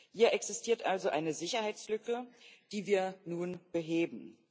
Hier existiert also eine Sicherheitslücke, die wir nun beheben.